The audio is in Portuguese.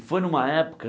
Foi numa época...